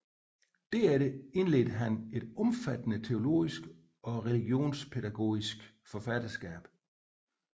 Derefter indledte han et omfattende teologisk og religionspædagogisk forfatterskab